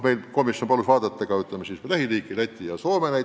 Meie komisjon palus analüüsida lähiriikide, näiteks Läti ja Soome kogemusi.